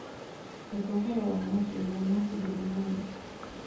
etha ũhoro wa mathĩna ma hũduma namba